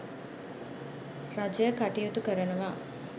රජය කටයුතු කරනවා.